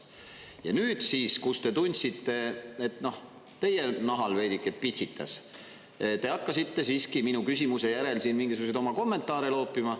Ja nüüd siis, kus te tundsite, et teie nahal veidike pitsitas, te hakkasite siiski minu küsimuse järel siin mingisuguseid oma kommentaare loopima.